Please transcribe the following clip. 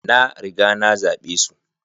na riga nazabe su